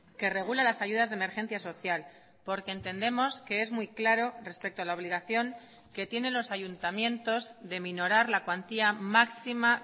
que regula las ayudas de emergencia social porque entendemos que es muy claro respecto a la obligación que tienen los ayuntamientos de minorar la cuantía máxima